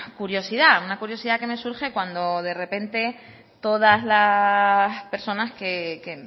curiosidad una curiosidad que me surge cuando de repente todas las personas que